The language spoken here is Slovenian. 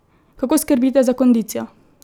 Kako skrbite za kondicijo?